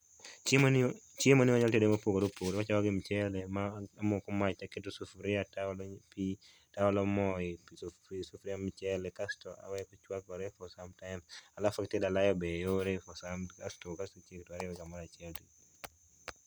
Chiemo chiemoni wanyalo tedo mopogore opogore wachako gi michele, ma amoko mach to aketo sufuria to aolo pi to aolo mo ei sufuria mar michele kasto aweyo ochuakore for some time, alafu itedo alayo be yore kasto iketogi kamoro achiel.